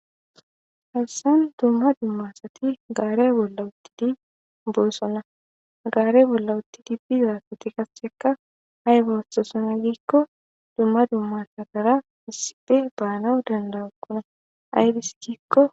Hessan dumma dumma asati gaare bolla uttidi boossona gaare bolla utti di bizakoti kassekka hay boossosona giikko dumma dumma sadara isipe baanawu danda7ukkuna aybis giikko.